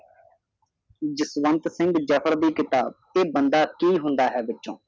ਜਸਵੰਤ ਸਿੰਘ ਜਫ਼ਰ ਦੀ ਕਿਤਾਬ ਇਹ ਬੰਦਾ ਕਿ ਹੁੰਦਾ ਹੈ ਵਿੱਚੋ